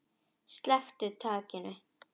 Sleppir takinu.